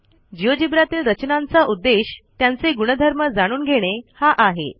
GeoGebraतील रचनांचा उद्देश त्यांचे गुणधर्म जाणून घेणे हा आहे